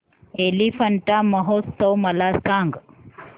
एलिफंटा महोत्सव मला सांग